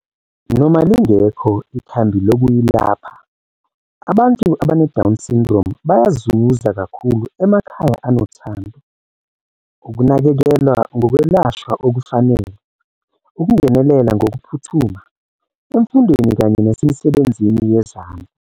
Noma lingekho ikhambi lokuyilapha, abantu abane-Down Syndrome bayazuza kakhulu emakhaya anothando, ukunakekelwa ngokwelashwa okufanele, ukungenelela ngokuphuthuma, emfundweni kanye nasemisebenzini yezandla.